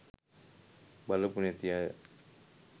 බලපු නැති අය